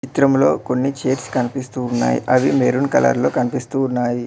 ఈ చిత్రం లో కొన్ని కనిపిస్తూ ఉన్నాయి అవి మెరూన్ కలర్ లో కనిపిస్తూ ఉన్నాయి.